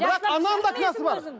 бірақ ананың да кінәсі бар